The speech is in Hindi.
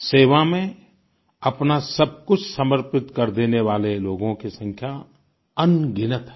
सेवा में अपना सब कुछ समर्पित कर देने वाले लोगों की संख्या अनगिनत है